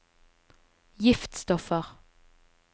giftstoffer